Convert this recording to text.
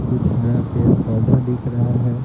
कुछ हरा पेड़ पौधा दिख रहा है।